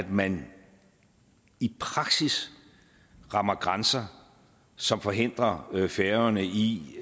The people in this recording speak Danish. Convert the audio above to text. man i praksis rammer grænser som forhindrer færøerne i